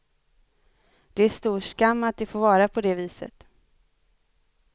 Det är stor skam att det får vara på det viset.